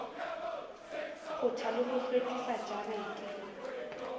kgotha le ho hlwekisa jarete